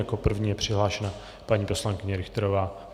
Jako první je přihlášena paní poslankyně Richterová.